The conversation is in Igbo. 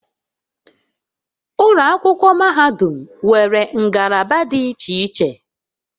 Ụlọ akwụkwọ mahadum nwere ngalaba dị iche iche